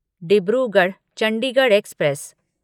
Dibrugarh Chandigarh express